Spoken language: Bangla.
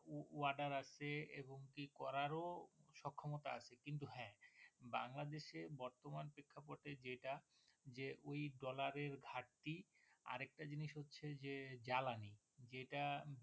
Order আছে এবং কি করার ও সক্ষমতা আছে কিন্তু হ্যাঁ বাংলাদেশে বর্তমান প্রেক্ষাপটে যেটা যে ঐ Dollar এ ঘাটতি আরেকটা জিনিস হচ্ছে যে জ্বালানি যেটা।